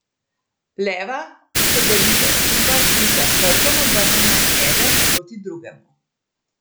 Leva se držita skupaj in sta s hrbtom obrnjena eden proti drugemu.